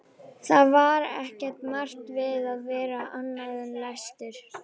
Það var ekki margt við að vera annað en lestur.